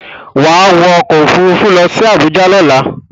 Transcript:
Wá wọ ọkọ̀ Òfurufú lọ sí Àbújá lọ́la!